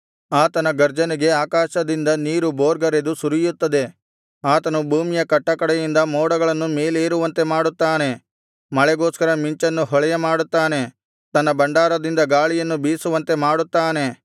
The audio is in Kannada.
ಆತನ ಗರ್ಜನೆಗೆ ಆಕಾಶದಿಂದ ನೀರು ಬೋರ್ಗರೆದು ಸುರಿಯುತ್ತದೆ ಆತನು ಭೂಮಿಯ ಕಟ್ಟಕಡೆಯಿಂದ ಮೋಡಗಳನ್ನು ಮೇಲೇರುವಂತೆ ಮಾಡುತ್ತಾನೆ ಮಳೆಗೋಸ್ಕರ ಮಿಂಚನ್ನು ಹೊಳೆಯಮಾಡುತ್ತಾನೆ ತನ್ನ ಭಂಡಾರದಿಂದ ಗಾಳಿಯನ್ನು ಬೀಸುವಂತೆ ಮಾಡುತ್ತಾನೆ